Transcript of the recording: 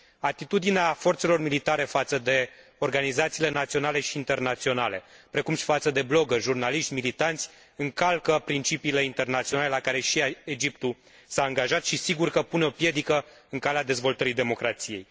Atitudinea forțelor militare față de organizațiile naționale și internaționale, precum și față de bloggeri, jurnaliști, militanți încalcă principiile internaționale, la care și Egiptul s a angajat și sigur că pune o piedică în calea dezvoltării democrației.